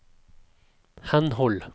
henhold